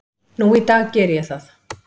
Nú í dag geri ég það.